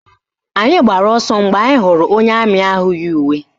Anyị gbara ọsọ mgbe anyị hụrụ onye amị ahụ yi uwe.